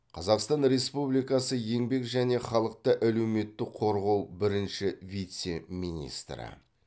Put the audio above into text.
қазақстан республикасы еңбек және халықты әлеуметтік қорғау бірінші вице министрі